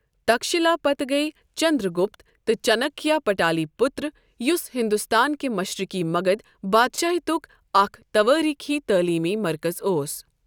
تكھشِلا پتہٕ گٔیۍ چنٛدرٛگُپت تہٕ چَانکیہ پَٹالی پُتر ، یُس ہِنٛدُستان کہِ مشرِقی مَگَدھ بادشٲہِیتٗك اکھ توٲریٖخی تعلیٖمی مرکز اوس۔